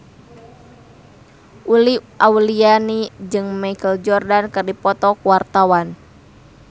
Uli Auliani jeung Michael Jordan keur dipoto ku wartawan